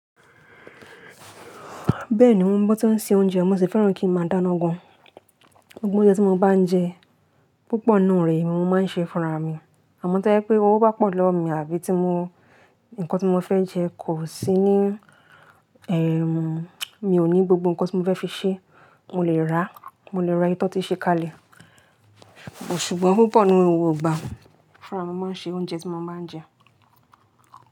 Bẹ́ẹ̀ni mo ń bọ́ tí ó ń se oúnjẹ, mo sì fẹ́ràn kí ń máa dáná gan. Gbogbo ounje tí mo bá ń jẹ púpọ̀ nínú rẹ̀ mo máa ń ṣe fúnra mi. Àmọ́ tó pé owó bá pọ̀ lọ́wọ́ mi àbí tí mo nǹkan tí mo fẹ́ jẹ kò sí ní, ẹ́, mi ò ní gbogbo nǹkan tí mo fẹ́ fi ṣe, mo lè rà, mo lè ra ìyi tí won ti ṣe kalẹ̀. Ṣùgbọ́n púpọ̀ nínú gbogbo igbà fúnra mi ni mo máa ń ṣe oúnjẹ tí mo máa ń jẹ.